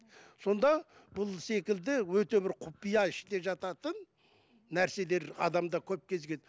сонда бұл секілді өте бір құпия іште жататын нәрселер адамда көп кезігеді